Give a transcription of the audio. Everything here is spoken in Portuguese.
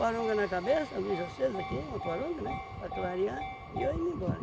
Poronga na cabeça, a luz acesa aqui, uma poronga, né, para clarear, e eu ia me embora.